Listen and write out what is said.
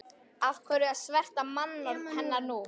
Af hverju að sverta mannorð hennar nú?